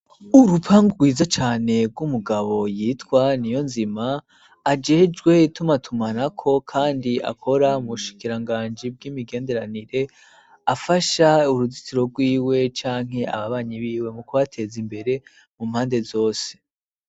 Urupangu rwiza cane rw'umugabo yitwa niyonzima ajejwe itumatumanako, kandi akora mu bushikiranganji bw'imigenderanire afasha uruzitiro rwiwe canke ababanyi biwe mu kubateza imbere mu mpande zose.